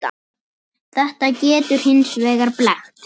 Þetta getur hins vegar blekkt.